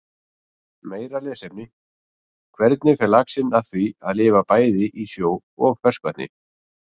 Meira lesefni: Hvernig fer laxinn að því að lifa bæði í sjó og ferskvatni?